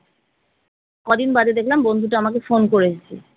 কদিন বাদে দেখলাম বন্ধুটা আমাকে phone করেছে।